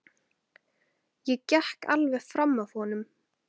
Ég gekk alveg fram af honum.